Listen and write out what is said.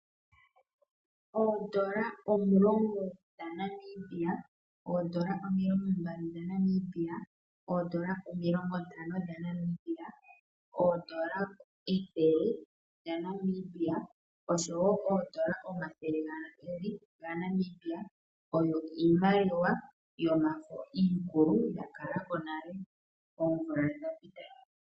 Oodola omulongo dhaNamibia, oodola omilongombali dhaNamibia, oodola omilongontano dhaNamibia, oodola ethele dhaNamibia oshowo oodola omathele gaali gaNamibia, oyo iimaliwa yomafo iikulu ya kala ko oomvula dhonale dha ka pita.